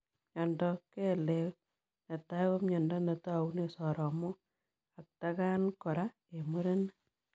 Miondoop kelek netai ko miondoo netaunee soromok atakaan koraa eng murenik.